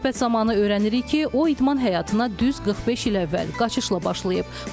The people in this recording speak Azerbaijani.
Söhbət zamanı öyrənirik ki, o idman həyatına düz 45 il əvvəl qaçışla başlayıb.